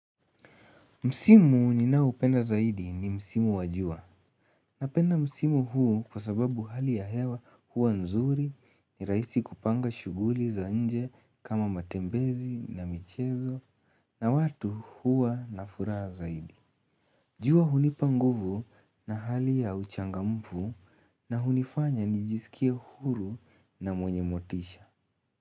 Msimu ninaopenda zaidi ni Msimu wa jua Napenda Msimu huu kwa sababu hali ya hewa huwa nzuri ni rahisi kupanga shughuli za nje kama matembezi na michezo na watu hua na furaha zaidi jua hunipa nguvu na hali ya uchangamfu na hunifanya nijisikie huru na mwenye motisha.